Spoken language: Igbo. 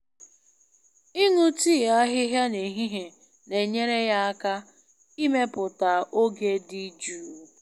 Ịṅụ tii ahịhịa n'ehihie na-enyere ya aka ịmepụta oge dị jụụ.